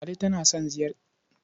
Ladi tana son ziyartar kogi.